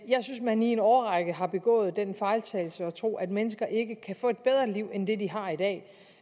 jeg synes man i en årrække har begået den fejltagelse at tro at mennesker ikke kan få et bedre liv end det de har i dag